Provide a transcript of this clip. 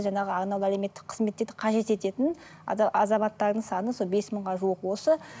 жаңағы әлеуметтік қызмет дейді қажет ететін азаматтардың саны сол бес мыңға жуық осы